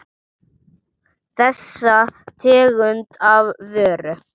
Þessa tegund af vöru.